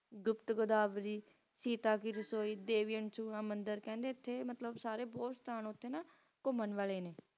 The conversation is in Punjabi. ਗੁਪਤ ਗੁਦਾਵਰੀ ਸੀਤਾ ਦੀ ਰਸੋਇ ਦੇਵੀਰਾਮ ਮੰਦਿਰ ਸਾਰੇ ਬੋਹਤ ਅਸਥਾਨ ਉਥੇ ਨਾ ਘੁੰਮਣ ਵਾਲੇ ਨੇ